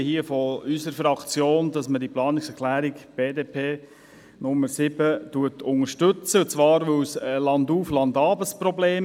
Das Thema ist landauf, landab für viele Leute ein Problem.